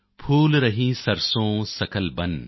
ਫੂਲ ਰਹੀ ਸਰਸੋਂ ਸਕਲ ਬਨ